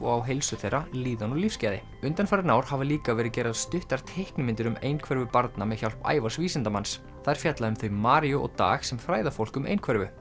á heilsu þeirra líðan og lífsgæði undanfarin ár hafa líka verið gerðar stuttar teiknimyndir um einhverfu barna með hjálp Ævars vísindamanns þær fjalla um þau Maríu og Dag sem fræða fólk um einhverfu